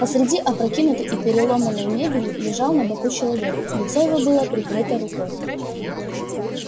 посреди опрокинутой и переломанной мебели лежал на боку человек лицо его было прикрыто рукой